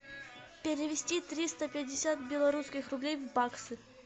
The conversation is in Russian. перевести триста пятьдесят белорусских рублей в баксы